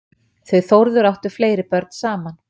Þau Þórður áttu fleiri börn saman.